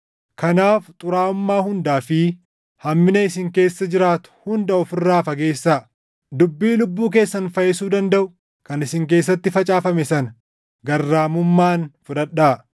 Kanaaf xuraaʼummaa hundaa fi hammina isin keessa jiraatu hunda of irraa fageessaa; dubbii lubbuu keessan fayyisuu dandaʼu kan isin keessatti facaafame sana garraamummaan fudhadhaa.